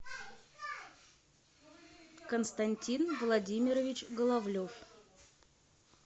константин владимирович головлев